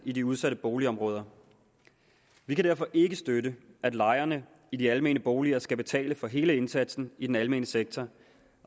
i de udsatte boligområder vi kan derfor ikke støtte at lejerne i de almene boliger skal betale for hele indsatsen i den almene sektor